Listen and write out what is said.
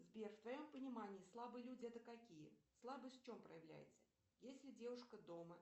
сбер в твоем понимании слабые люди это какие слабость в чем проявляется если девушка дома